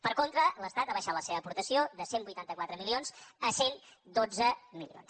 per contra l’estat ha abaixat la seva aportació de cent i vuitanta quatre milions a cent i dotze milions